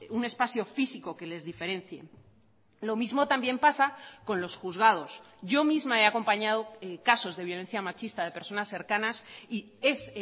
un espacio físico que les diferencie lo mismo también pasa con los juzgados yo misma he acompañado casos de violencia machista de personas cercanas y es